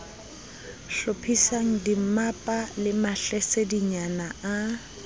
hlophisang dimmapa le mahlasedinyana a